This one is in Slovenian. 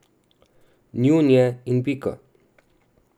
Njun je in pika!